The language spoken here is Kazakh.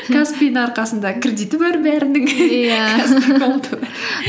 каспи дің арқасында кредиті бар бәрінің каспи голд тың